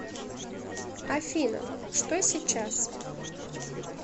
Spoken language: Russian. афина что сейчас